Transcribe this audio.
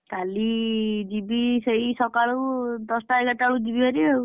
କାଲି ଯିବି ସେଇ ସକାଳୁ ଦଶଟା ଏଗାରଟା ବେଳକୁ ଯିବି ଭାରି ଆଉ।